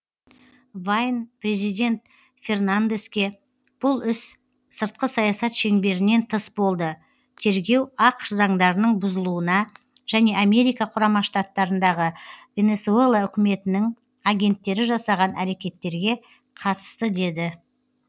вайн президент фернандеске бұл іс сыртқы саясат шеңберінен тыс болды тергеу ақш заңдарының бұзылуына және америка құрама штаттарындағы венесуэла үкіметінің агенттері жасаған әрекеттерге қатысты деді